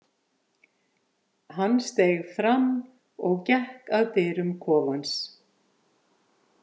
Hann steig fram og gekk að dyrum kofans.